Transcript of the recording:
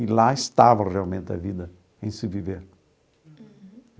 E lá estava realmente a vida, em se viver.